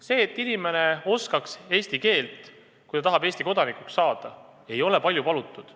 See, et inimene oskaks eesti keelt, kui ta tahab Eesti kodanikuks saada, ei ole palju palutud.